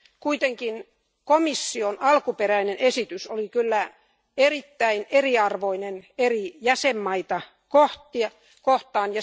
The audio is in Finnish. Kuitenkin komission alkuperäinen esitys oli erittäin eriarvoinen eri jäsenmaita kohtaan.